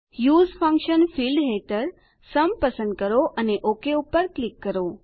use function field હેઠળ sum પસંદ કરો અને ઓક પર ક્લિક કરો